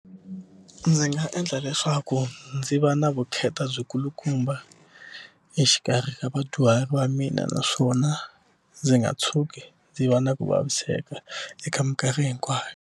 Ndzi nga endla leswaku ndzi va na vukheta byikulukumba exikarhi ka vadyuhari va mina naswona ndzi nga tshuki ndzi va na ku vaviseka eka mikarhi hinkwayo.